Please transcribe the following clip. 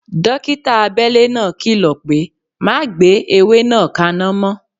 Dókítà abele náà kìlọ̀ pé "Má gbé ewé náà kana mo"